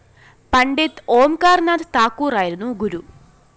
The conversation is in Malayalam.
പണ്ഡിറ്റ് ഓംകാര്‍നാഥ് താക്കൂറായിരുന്നു ഗുരു